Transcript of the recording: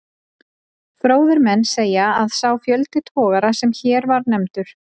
Fróðir menn segja, að sá fjöldi togara, sem hér var nefndur